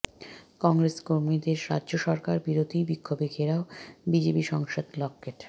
কংগ্রেস কর্মীদের রাজ্য সরকার বিরোধী বিক্ষোভে ঘেরাও বিজেপি সাংসদ লকেট